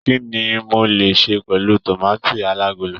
Kínní mo le se pẹlu tomaati alagolo?